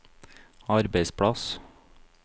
arbeidsplass